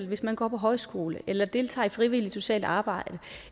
hvis man går på højskole eller deltager i frivilligt socialt arbejde